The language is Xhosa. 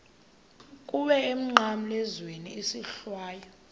kuwe emnqamlezweni isohlwayo